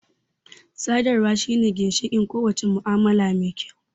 Sadarwa shine ginshiƙin ko wace mu'amala mai kyau